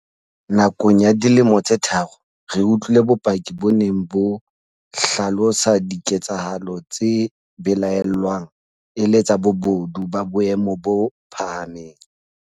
Nakong ya dilemo tse tharo, re utlwile bopaki bo neng bo hlalosa diketsa halo tse belaellwang e le tsa bobodu ba boemo bo phahameng.